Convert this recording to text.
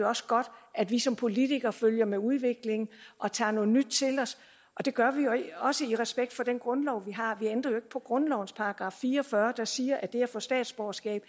også godt at vi som politikere følger med udviklingen og tager noget nyt til os og det gør vi også i respekt for den grundlov vi har vi ændrer jo ikke på grundlovens § fire og fyrre der siger at det at få statsborgerskab